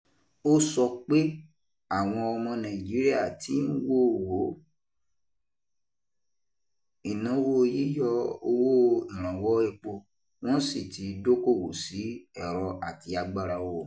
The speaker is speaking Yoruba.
Ó sọ pé àwọn ọmọ Nàìjíríà tí ń wo wo ìnáwó yíyọ owó ìrànwọ́ epo wọ́n sì ti dókòwò sí ẹ̀rọ àti agbára oòrùn.